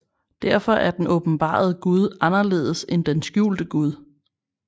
Derfor er den åbenbarede Gud anderledes end den skjulte Gud